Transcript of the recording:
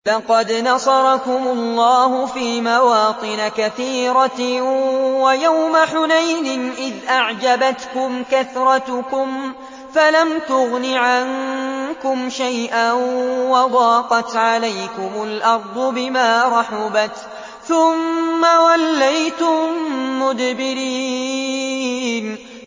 لَقَدْ نَصَرَكُمُ اللَّهُ فِي مَوَاطِنَ كَثِيرَةٍ ۙ وَيَوْمَ حُنَيْنٍ ۙ إِذْ أَعْجَبَتْكُمْ كَثْرَتُكُمْ فَلَمْ تُغْنِ عَنكُمْ شَيْئًا وَضَاقَتْ عَلَيْكُمُ الْأَرْضُ بِمَا رَحُبَتْ ثُمَّ وَلَّيْتُم مُّدْبِرِينَ